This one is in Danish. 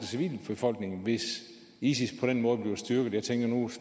civilbefolkning hvis isis på den måde bliver styrket